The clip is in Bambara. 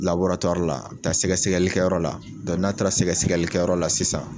la, a bi taa sɛgɛsɛlikɛyɔrɔ la, n'a taara sɛgɛsɛlikɛyɔrɔ la sisan